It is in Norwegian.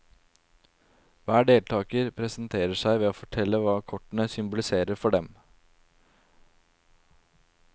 Hver deltaker presenterer seg ved å fortelle hva kortene symboliserer for dem.